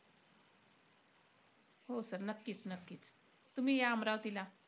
हो sir नक्कीचं-नक्कीचं. तुम्ही या अमरावतीला.